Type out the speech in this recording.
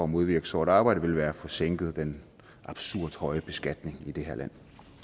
modvirke sort arbejde ville være at få sænket den absurd høje beskatning i det her land